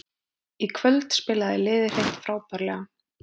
Í kvöld spilaði liðið hreint frábærlega